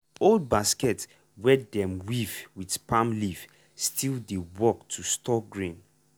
old basket wey dem weave with palm leaf still dey work to store grain.